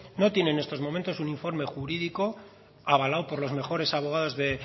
no tiene en este momento un informe jurídico avalado por los mejores abogados